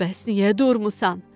Bəs niyə durmusan?